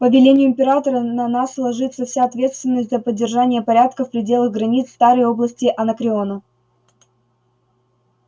по велению императора на нас ложится вся ответственность за поддержание порядка в пределах границ старой области анакреона